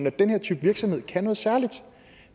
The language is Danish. at den her type virksomhed kan noget særligt